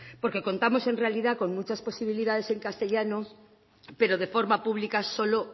porque contamos en realidad con muchas posibilidades en castellano pero de forma pública solo